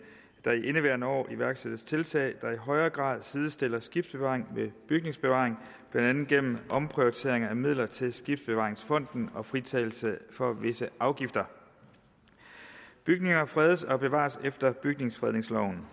der i indeværende år iværksættes tiltag der i højere grad sidestiller skibsbevaring med bygningsbevaring blandt andet gennem en omprioritering af midler til skibsbevaringsfonden og fritagelse for visse afgifter bygninger fredes og bevares efter bygningsfredningsloven